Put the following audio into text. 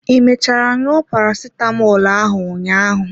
I mechara ṅụọ parasitamọl ahụ ụnyaahụ?